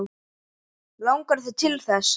Langar þig til þess?